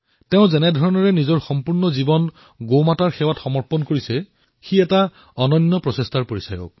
তেওঁ যিদৰে নিজৰ সমগ্ৰ জীৱন গোমাতাৰ সেৱাত সমৰ্পিত কৰিছে সেয়া সঁচাকৈয়ে প্ৰশংসাৰ পাত্ৰ